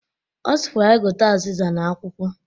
Ọ sịkwara ya gote azizia na akwụkwọ